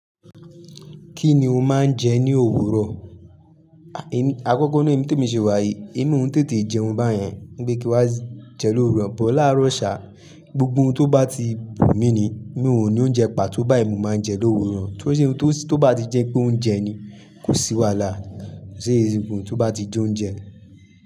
Kí ni o máa ń jẹ ní òwúrọ̀? Àkọ́kọ́ na èmi te mi ṣe wá yí, emi oun tètè jẹun báyẹn. Npe kí wa jẹ lóru, bọ́ làárọ̀ ṣà, gbogbo ohun tó bá ti wù mí ni, mí ò ní oúnjẹ pa tó báyi mo máa ń jẹ lówuro. Tó bá ti jẹ pé oúnjẹ ni kò sì wàhalà, ṣe gbogbo tó bá ti jẹ oúnjẹ.